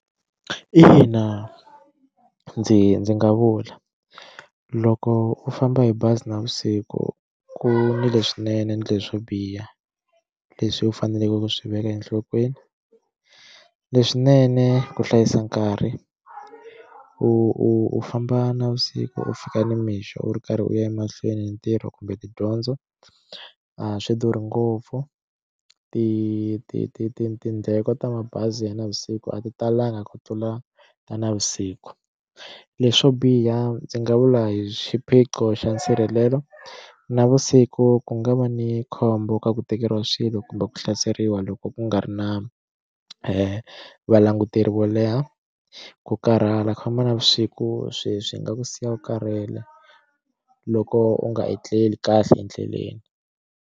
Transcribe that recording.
Ina ndzi ndzi nga vula loko u famba hi bazi navusiku ku swinene ni le swo biha leswi u faneleke ku swi veka enhlokweni leswinene ku hlayisa nkarhi u u famba navusiku u fika nimixo u ri karhi u ya emahlweni hi ntirho kumbe tidyondzo a swi durhi ngopfu ti ti ti ti tindleko ta mabazi ya navusiku a ti talanga ku tlula ta navusiku leswo biha ndzi nga vula hi xiphiqo xa nsirhelelo navusiku ku nga va ni khombo ka ku tekeriwa swilo kumbe ku hlaseriwa loko ku nga ri na valanguteri wo leha ku karhala ku famba na vusiku swi swi nga ku siya u karhele loko u nga etleli kahle endleleni.